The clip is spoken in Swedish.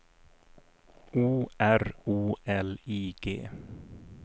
O R O L I G